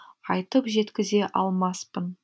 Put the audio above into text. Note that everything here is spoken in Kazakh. айтып жеткізе алмаспын